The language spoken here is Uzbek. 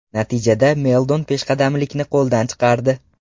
Natijada Meldon peshqadamlikni qo‘ldan chiqardi.